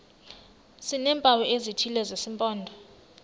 sineempawu ezithile zesimpondo